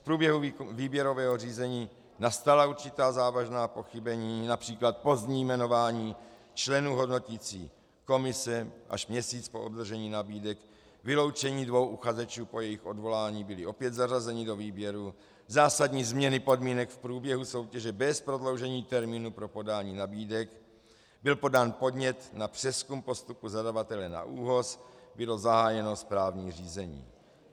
V průběhu výběrového řízení nastala určitá závažná pochybení, například pozdní jmenování členů hodnoticí komise až měsíc po obdržení nabídek, vyloučení dvou uchazečů, po jejich odvolání byli opět zařazeni do výběru, zásadní změny podmínek v průběhu soutěže bez prodloužení termínu pro podání nabídek, byl podán podnět na přezkum postupu zadavatele na ÚOHS, bylo zahájeno správní řízení.